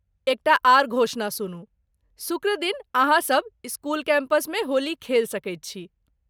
एकटा आर घोषणा सुनू, शुक्रदिन अहाँ सभ स्कूल कैंपसमे होली खेल सकैत छी।